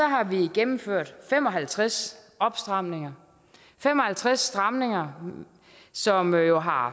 har vi gennemført fem og halvtreds opstramninger fem og halvtreds stramninger som jo har